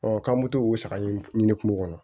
k'an bɛ to o saga in ɲini kungo kɔnɔ